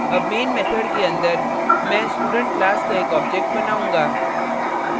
अब main method के अंदर main student class का एक object बनाऊँगा